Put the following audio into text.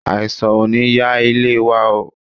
Àìsàn ò ní ya ilé wa oo.